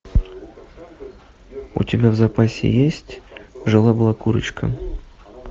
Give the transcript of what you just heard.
у тебя в запасе есть жила была курочка